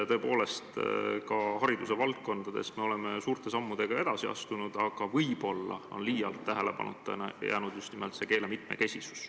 Tõepoolest, hariduse valdkonnas me oleme suurte sammudega edasi astunud, aga võib-olla on liialt tähelepanuta jäänud just nimelt eesti keele mitmekesisus.